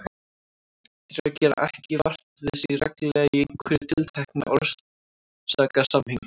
Draugar gera ekki vart við sig reglulega í einhverju tilteknu orsakasamhengi.